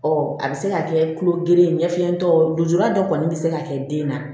a bɛ se ka kɛ tulo gere ye ɲɛfɛlen dɔw ye lujura dɔ kɔni bɛ se ka kɛ den na